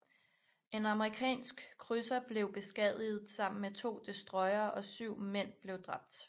En amerikansk krydser blev beskadiget sammen med to destroyere og syv mænd blev dræbt